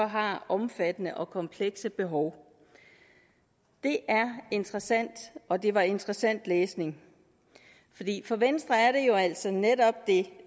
har omfattende og komplekse behov det er interessant og det var interessant læsning for venstre siger netop